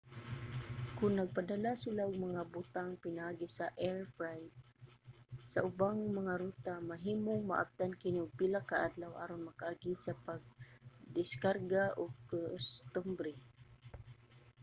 kon nagpadala sila og mga butang pinaagi sa air freight sa ubang mga ruta mahimong maabtan kini og pila ka adlaw aron makaagi sa pagdiskarga ug kostumbre